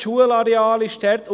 Das Schulareal ist dort.